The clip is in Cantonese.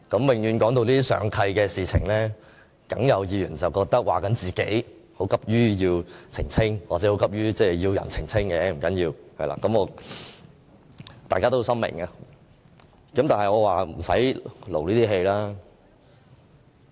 每當談到上契的事情，一定會有議員認為是在說自己，要急於澄清或急於要人澄清，不要緊，大家是心知肚明的。